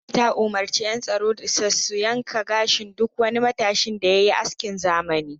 Gwamnati ta umurci yan tsaro sa su yanka gashin duk wani matashin da yayi askin zamani.